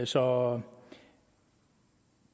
så